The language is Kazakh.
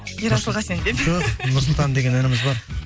ерасыл қасен деп жоқ нұрсұлтан деген ініміз бар